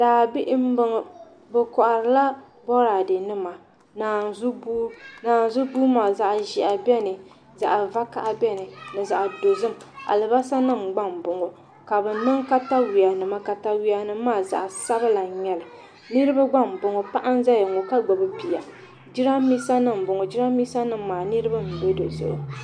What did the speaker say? Daabihi n boŋo bi koharila boraadɛ nima ni naanzu buhi naanzu buhi maa zaɣ ƶiɛhi biɛni ka zaɣ vakaɣa biɛni ni zaɣ dozim alibarisa nim gba n boŋo ka bi niŋ katawiya nima katawiya nim maa zaɣ sabila n nyɛli niraba gba n boŋo paɣa n ƶɛya ŋo ka gbubi bia jiranbiisa nim n boŋo jiranbiisa nim maa nirabq n bɛ dizuɣu